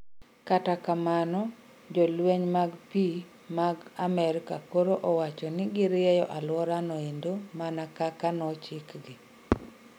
Kata kamano jolweny mag pii mag Amerika koro owacho ni giryeyo aluora no endo mana kaka nochikgi